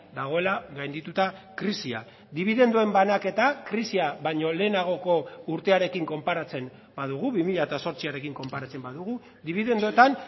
dagoela gaindituta krisia dibidenduen banaketa krisia baino lehenagoko urtearekin konparatzen badugu bi mila zortziarekin konparatzen badugu dibidenduetan